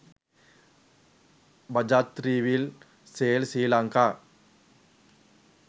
bajaj three wheel sale sri lanka